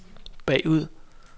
bagud